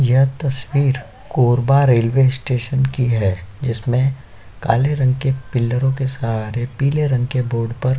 यह तस्वीर Korba railway station की है जिसमें काले रंग के पील्लरो के सहारे पीले रंग के बोर्ड पर --